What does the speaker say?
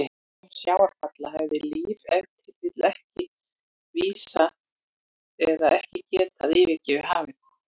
Án sjávarfalla hefði líf ef til vill ekki risið eða ekki getað yfirgefið hafið.